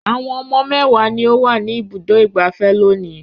Àwọn ọmọ mẹ́wàá ni ó wà ní Ibùdó-ìgbafẹ́ lónìí.